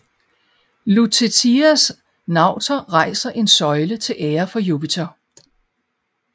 Lutetias nauter rejser en søjle til ære for Jupiter